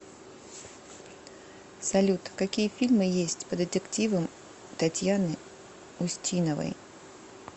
салют какие фильмы есть по детективам татьяны устиновои